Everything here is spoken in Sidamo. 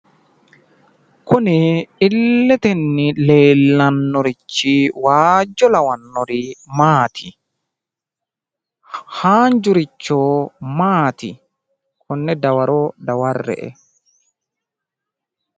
Kuni illetenni leellannorichi waajjo lawannori maati? haanjjurichi maati? konne dawaro daware'e.